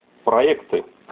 проекты